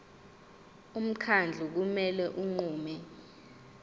umkhandlu kumele unqume